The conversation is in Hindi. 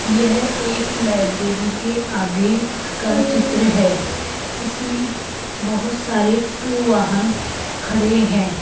यह एक लाइब्रेरी के आगे का चित्र है इसमें बहोत सारे टू वाहन खड़े है।